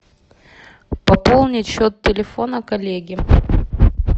пополнить счет телефона коллеги